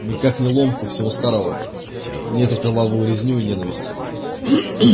никак не ломку всего старого не эту кровавую резню и ненависть